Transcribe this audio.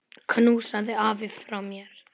Knúsaðu afa frá mér.